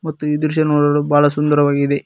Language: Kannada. ಮತ್ತು ಈ ದೃಶ್ಯ ನೋಡಲು ಬಹಳ ಸುಂದರವಾಗಿದೆ.